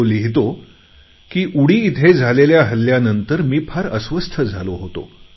तो लिहितो की उरी इथे झालेल्या हल्ल्यानंतर मी फार अस्वस्थ झालो होतो